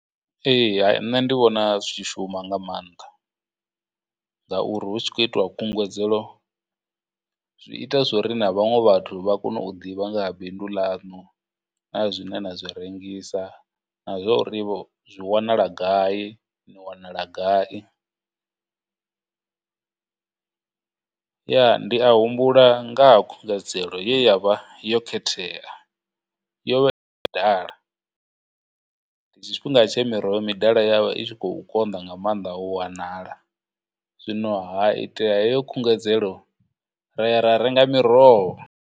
Ee nṋe ndi vhona zwi tshi shuma nga maanḓa, ngauri hu tshi khou itiwa khunguwedzelo zwi ita zwori na vhaṅwe vhathu vha kone u ḓivha nga ha bindu ḽanu, na zwine na zwi rengisa, na zworivho, zwi wanala gai, ni wanala gai. Ya, ndi a humbula ngaha khungedzelo ye ya vha yo khethea yo vha ḓala, ndi tshifhinga tshe miroho midala ya vha i tshi khou konḓa nga maanḓa u wanala, zwino ha itea heyo khungedzelo ra ya ra renga miroho.